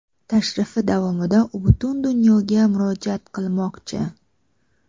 Tashrifi davomida u butun dunyoga murojaat qilmoqchi.